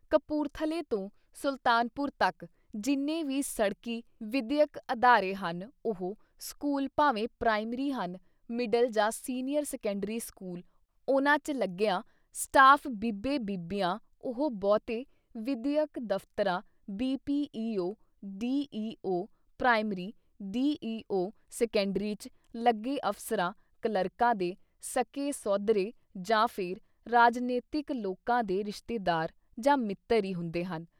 ਕਪੂਰਥਲੇ ਤੋਂ ਸੁਲਤਾਨਪੁਰ ਤੱਕ ਜਿੰਨੇ ਵੀ ਸੜਕੀ ਵਿਦਿਅਕ ਅਦਾਰੇ ਹਨ - ਉਹ ਸਕੂਲ ਭਾਵੇਂ ਪ੍ਰਾਇਮਰੀ ਹਨ ਮਿਡਲ ਜਾਂ ਸੀਨੀਅਰ ਸੈਕੰਡਰੀ ਸਕੂਲ ਉਨ੍ਹਾਂ ਚ ਲੱਗਿਆ ਸਟਾਫ ਬੀਬੇ ਬੀਬੀਆਂ ਉਹ ਬਹੁਤੇ ਵਿਦਿਅਕ ਦਫ਼ਤਰਾਂ, BPEO, D. E. O. Primary DEO. Secondary 'ਚ ਲੱਗੇ ਅਫ਼ਸਰਾਂ, ਕਲੱਰਕਾਂ ਦੇ ਸਕੇ ਸੋਧਰੇ ਜਾਂ ਫਿਰ ਰਾਜਨੀਤਿਕ ਲੋਕਾਂ ਦੇ ਰਿਸ਼ਤੇਦਾਰ ਜਾਂ ਮਿੱਤਰ ਈ ਹੁੰਦੇ ਹਨ।